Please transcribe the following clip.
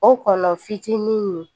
O kɔnɔni nin